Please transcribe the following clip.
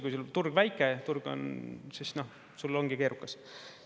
Kui väike turg on, siis sul ongi keerukas.